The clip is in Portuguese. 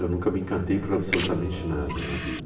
Eu nunca me encantei por absolutamente nada na vida.